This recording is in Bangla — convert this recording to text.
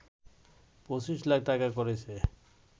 ২৫ লাখ টাকা করেছে